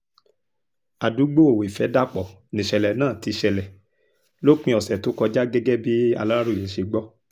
àdúgbò ìfẹ́dàpọ̀ nìṣẹ̀lẹ̀ náà ti ṣẹlẹ̀ lópin ọ̀sẹ̀ tó kọjá gẹ́gẹ́ bí aláròye ṣe gbọ́